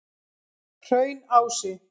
Hraunási